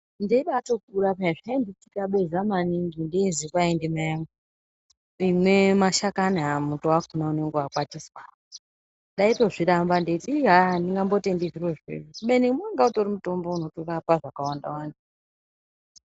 Ndeibatokura piya zvainditambudza maningi neizii namai vangu tine mashakani aya muto wacho unenge wakwatiswa ndaitozviramba ndichiti andingatendi zvirozvo kubeni wanga utori mutombo unorapa zvakawanda wanda.